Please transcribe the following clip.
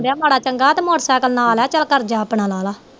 ਮਾੜਾ ਚੰਗਾ ਤੇ ਮੋਟਰ ਸੈਕਲ ਨਾਲ ਏ ਚੱਲ ਕਰ ਗਿਆ ਆਪਣਾ ਨਾਲੇ